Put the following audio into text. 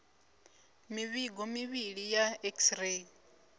mivhigo mivhili ya x ray